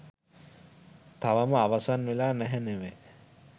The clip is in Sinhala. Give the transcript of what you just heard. තවම අවසන් වෙලා නැහැ නෙව